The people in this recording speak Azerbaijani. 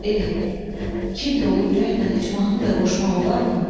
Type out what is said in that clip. Eh, kin dolu ürəklə heç mahnı da qoşmaq olarmı?